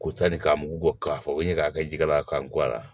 Ko sanni k'a mugu bɔ k'a fɔ ko n ɲe ka kɛ jikala ye ka n go a la